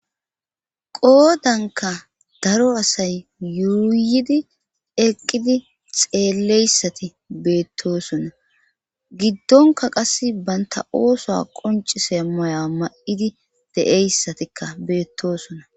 Qoodanka daro asay yuuyidi eqqidi xeelleyssati beettosona giddonka qas banta ooso qoncise moya ma7idi de7eyssatikka beettosona.